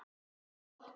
Gott!